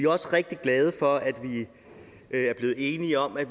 også rigtig glade for at vi er blevet enige om at